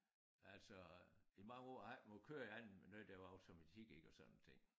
Altså i mange år har jeg ikke måttet køre i andet end noget der var automatik ik og sådan nogle ting